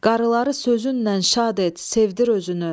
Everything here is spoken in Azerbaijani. Qarıları sözünlə şad et, sevdir özünü.